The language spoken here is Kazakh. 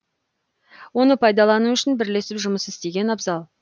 оны пайдалану үшін бірлесіп жұмыс істеген абзал